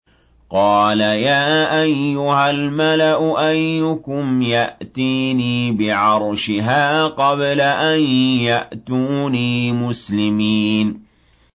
قَالَ يَا أَيُّهَا الْمَلَأُ أَيُّكُمْ يَأْتِينِي بِعَرْشِهَا قَبْلَ أَن يَأْتُونِي مُسْلِمِينَ